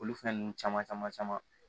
Olu fɛn ninnu caman caman caman